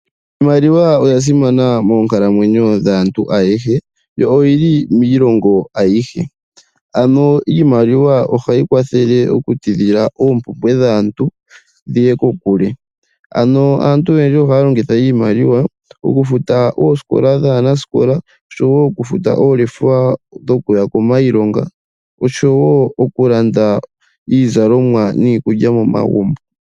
Iimaliwa oya simana moonkalamwenyo dhaantu ayehe yo oyi li miilongo ayihe. Ano iimaliwa ohayi kwathele okutidhila oompumbwe dhaantu dhiye kokule. Aantu oyendji ohaya longitha iimaliwa okufuta oosikola dhaanaskola oshowo okufuta oolefa dhokuya kiilonga nokulanda iizalomwa niikulya momagumbo.